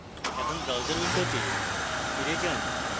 এখন browser window ফিরে যান